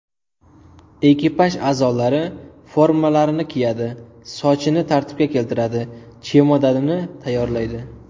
Ekipaj a’zolari formalarini kiyadi, sochini tartibga keltiradi, chemodanini tayyorlaydi.